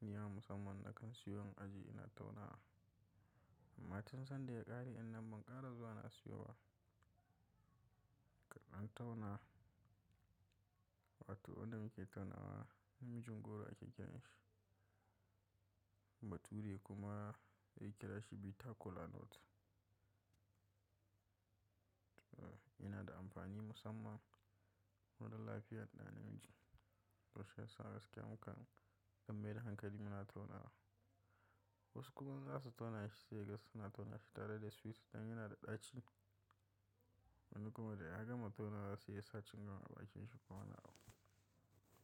Nima musamman na kan siyo in aje ina taunawa. Amma tun sanda ya ƙare ɗin nan ban ƙara zuwa na siyo ba. Kaɗan tauna, wato wanda muke taunawa namijin goro ake kiran shi. Bature kuma ya kira shi bitter kola nut. Eh yana da amfani musamman ko dan lafiyar ɗa namiji. To shiyasa gaskiya muka ɗan maida hankali muna taunawa. Wasu kuma zasu tauna shi sai kaga suna taunawa shi tare da sweet dan yana da ɗaci. Wani kuma da ya gama taunawa sai ya sa cingam a bakinshi ko wani abu.